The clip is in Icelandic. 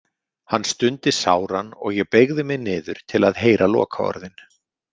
Hann stundi sáran og ég beygði mig niður til að heyra lokaorðin.